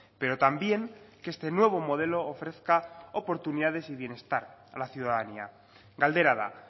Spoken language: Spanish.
pero también que este nuevo modelo ofrezca oportunidades y bienestar a la ciudadanía galdera da